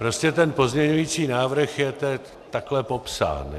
Prostě ten pozměňovací návrh je teď takhle popsán.